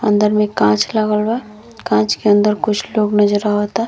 अंदर में कांच लागल बा। कांच के अन्दर कुछ लोग नज़र आवता।